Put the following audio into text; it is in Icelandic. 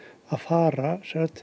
að fara